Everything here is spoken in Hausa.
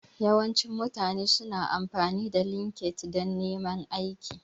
Yawancin mutane su na amfani da LinkedIn dan neman aiki